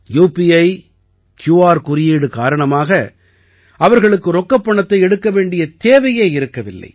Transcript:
UPI Q R குறியீடு காரணமாக அவர்களுக்கு ரொக்கப் பணத்தை எடுக்க வேண்டிய தேவையே இருக்கவில்லை